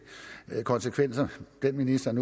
konsekvenser ministeren